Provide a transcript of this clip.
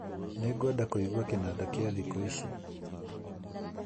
Nĩngwenda kũigua kĩnanda kĩa ziko ici